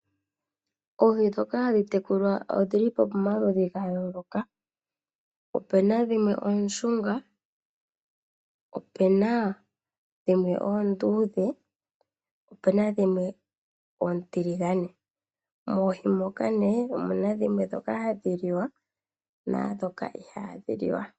Oohi ndhoka hadhi tekulwa odhili pomaludhi gayooloka opena dhimwe ooshunga, opena dhimwe oonduudhe, opena dhimwe oontiligane moohi moka omuna dhimwe hadhi liwa naandhoka ihaadhi liwa.